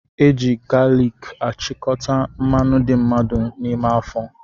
Eji galiki achikọta mmanụ dị mmadụ n'ime afọ